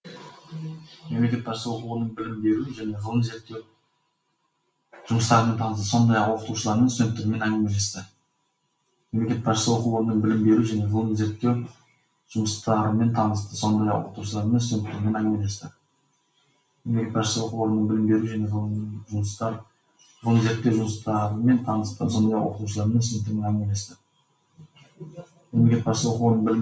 мемлекет басшысы оқу орнының білім беру және ғылым зерттеу жұмыстарымен танысты сондай ақ оқытушылармен студенттермен әңгімелесті